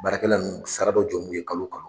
Baarakɛla nun sara dɔ jɔn b'u ye kalo ka